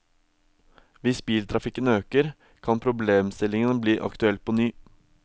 Hvis biltrafikken øker, kan problemstillingen bli aktuell på ny.